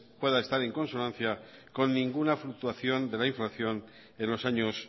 pueda estar en consonancia con ninguna fluctuación de la inflación en los años